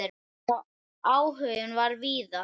Já, áhuginn var víða.